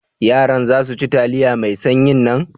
Yaran za su ci taliya mai sanyin nan?